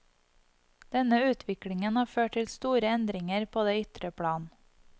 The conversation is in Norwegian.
Denne utviklingen har ført til store endringer på det ytre plan.